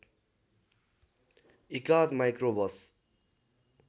एकाध माइक्रो बस